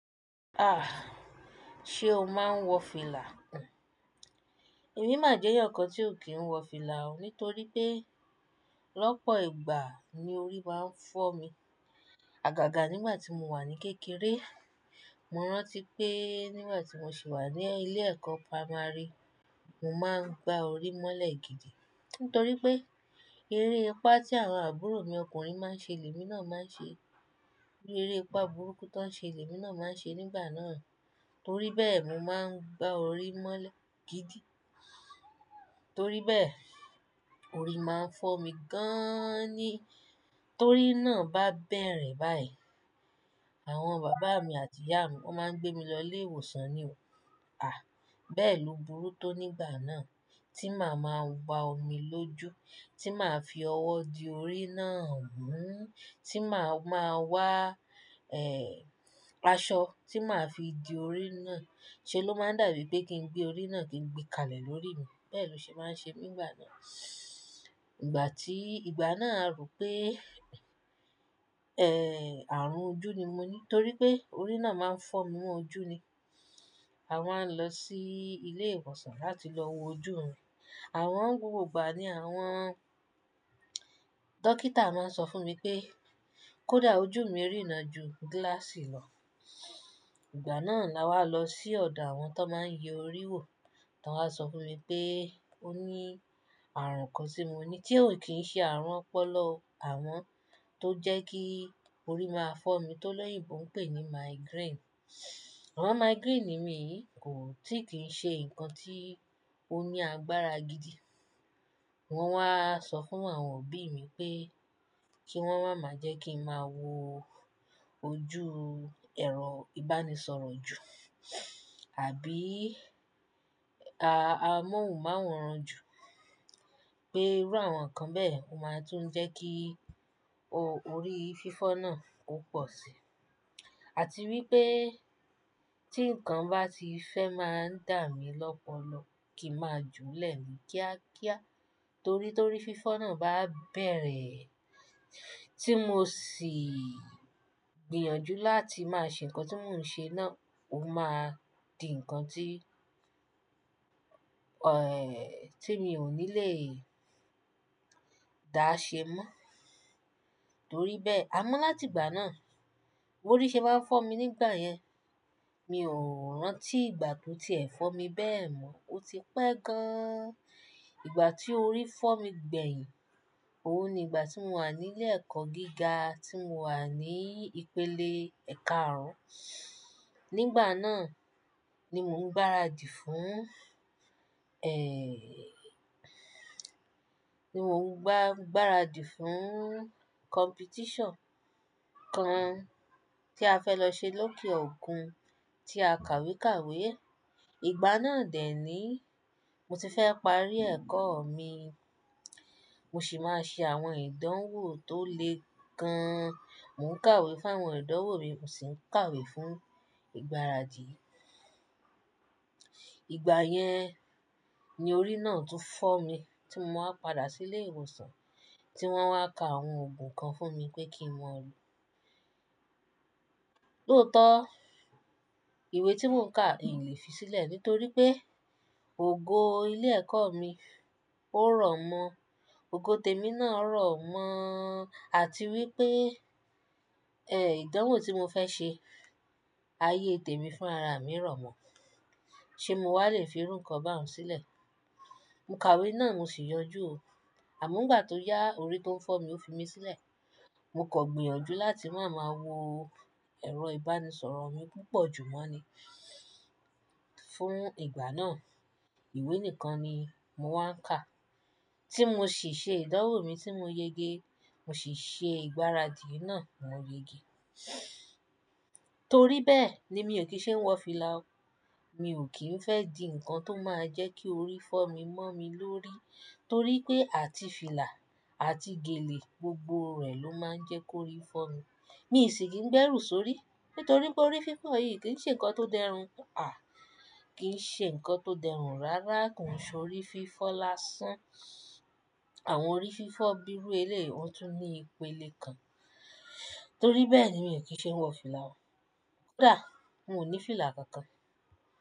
Ah! Ṣe o máa ń wọ fìlà? Emi má jẹ́ eyan tí ò kí ń wọ fìlà o, nítorí pé lọ́pọ̀ ìgbà ni orí máa ń fọ́ mi. Àgàgà nígbà tí mo wà ní kékeré, mo rántí pé nígbà tí mo sì wà ní ilé ẹ̀kọ́ pámárí, mo máa ń gba orí mọ́lẹ̀ gidi nítorí pé eréepá tí àwọn àbúrò mi ọkùnrin máa ń ṣe lèmi náà máa ń ṣe, eréepá burúkú tó ń ṣe lèmi náà máa ń ṣe nígbà náà. Nítoríbẹ́ẹ̀, mo máa ń gba orí mọ́lẹ̀ gidi. Nítoríbẹ́ẹ̀, orí máa ń fọ́ mi gaaán ni. Torí náà bá bẹ̀rẹ̀ báyìí, àwọn bàbá mi àti ìyá mi wọ́n máa ń gbé mi lọ ilé ìwòsàn ni. Ah! Bẹ́ẹ̀ lo burú tó nígbà náà tí màá máa wa omi lójú, tí màá fi ọwọ́ di orí náà mú, tí màá máa wá, ẹ́, aṣọ tí màá fi di orí náà. Ṣé ló máa dàbí pé kí ń gbé orí náà kí ń gbé kalẹ̀ lórí mi? Bẹ́ẹ̀ lọ ṣe máa ń ṣe mi nígbà náà. Ìgbà tí, ìgbà náà a rò pé, ẹ́, àrùn ojú ni mo ní torí pé orí náà máa ń fọ́ mi mọ́ ojú ni. A máa ń lọ sí ilé ìwòsàn láti lọ wo ojú mi. Àmo gbogbo ìgbà ni àwọn dókítà máa sọ fún mi pé kó dá ojú mi rína ju gíláàsì lọ. Ìgbà náà la wá lọ sí ọ̀dọ̀ àwọn tó máa ń yẹ orí wò, tó wá sọ fún mi pé ó ní àrùn kan tí mo ní tí ò kí ń ṣe àrùn ọpọlọ àmo tó jẹ́ kí orí máa fọ́ mi tó lẹ́yìn tó ń pè ní migraine. Àwọn migraine ni mi kò tíì kí ń ṣe ǹkan tí ó ní agbára gidi. Wọn wá sọ fún àwọn òbí mi pé kí wọ́n wá máa jẹ́ kí ń máa wo ojú ẹ̀rọ ìbánisọ̀rọ̀ jù àbí, ah, amóhùnmáwòrán jù pé irú àwọn ǹkan bẹ́ẹ̀ máa tún jẹ́ kí orí fífọ́ náà ó pọ̀ sí i. Àti wípé tí ǹkan bá ti fẹ́ máa ń dà mí lọ́pọ̀lọpọ̀ kí ń máa jù ú lẹ̀ mi kíákíá torí torí fífọ́ náà bá bẹ̀rẹ̀ tí mo sì gbìyànjú láti máa ṣe ǹkan tí mò ń ṣe náà, ó máa di ǹkan tí, ẹ́, tí mi ò ní lè dá ṣe mọ́. Torí bẹ́ẹ̀, àmọ́ láti ìgbà náà, orí ṣe bá ń fọ́ mi nígbà yẹn, mi ò rántí ìgbà tó ti è fọ́ mi bẹ́ẹ̀ mọ́. Ó ti pẹ́ gan-an. Ìgbà tí orí fọ́ mi gbẹ̀yìn, ó ni ìgbà tí mo wà ní ilé ẹ̀kọ́ gíga tí mo wà ní ìpele ẹ̀ka àrùn. Nígbà náà ni mò ń gbáradì fún, ẹ́, ni mò ń gbá-gbáradì fún competition kan tí a fẹ́ lọ ṣe lókè òkun tí a kàwé kàwé. Ìgbà náà dè ni mo ti fẹ́ parí ẹ̀kọ́ mi, mo sì máa ṣe àwọn ìdánwò tó le gan. Mò ń kàwé fún àwọn ìdánwò mi, mo sì ń kàwé fún ìgbáradì. Ìgbà yẹn ni orí náà tún fọ́ mi tí mo máa padà sí ilé ìwòsàn tí wọ́n wá ka àwọn ògùn kan fún mi pé kí mo lo. Lótọ́, ìwé tí mò ń kà, èyí lè fi sílẹ̀ nítorí pé ògo ilé ẹ̀kọ́ mi ó rọ̀ mọ́. Ògo tèmi náà rọ̀ mọ́ àti wípé, ẹ́, ìdánwò tí mo fẹ́ ṣe, ayé tèmi fún ara mi rọ̀ mọ́. Ṣé mo wà lè fi irú ǹkan bá wọn sílẹ̀? Mo kàwé náà mo sì yọjú o. Àmọ́ nígbà tó yá, orí tó ń fọ́ mi ó fi mí sílẹ̀. Mo kò gbìyànjú láti máa máa wo ẹ̀rọ ìbánisọ̀rọ̀ mi púpọ̀ jù mọ́ ni fún ìgbà náà. Ìwé nìkan ni mo wá ń kà tí mo sì ṣe ìdánwò mi tí mo yege, mo sì ṣe ìgbáradì náà mo yege. Torí bẹ́ẹ̀ ni mi ò kí ń ṣe wọ fìlà o. Mi ò kí ń fẹ́ di ǹkan tó máa jẹ́ kí orí fọ́ mi mọ́ mi lórí torí pé àti fìlà àti gèlè gbogbo rẹ̀ ló máa ń jẹ́ kó orí fọ́ mi. Mi sì kì í gbẹ́rù sórí nítorí pé orí fífọ́ yìí kì í ṣe ǹkan tó dẹrùn. Ah! Kì í ṣe ǹkan tó dẹrùn rárá. Kò sọ orí fífọ́ lásán. Àwọn orí fífọ́ bíi ru ẹ̀lẹ́ ó tún ní ìpele kan. Torí bẹ́ẹ̀ ni mi ò kí ń ṣe wọ fìlà o. Ko da, mò ní fìlà kankan.